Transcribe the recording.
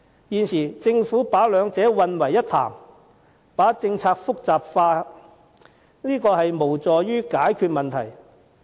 現時政府把兩者混為一談，把政策複雜化，無助於解決問題。